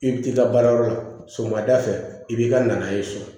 I bɛ t'i ka baarayɔrɔ la sɔgɔmada fɛ i b'i ka na n'a ye so